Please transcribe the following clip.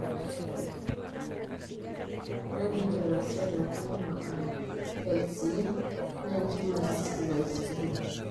Ore Littoral cell angioma (LCA) naa entiuma evascular espleen.